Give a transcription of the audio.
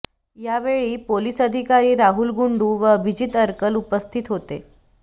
यावेळी पोलीस अधिकारी राहुल गुंडू व अभिजित अरकल उपस्थित होते